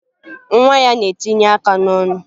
Nwa ya na-etinye aka n'ọnụ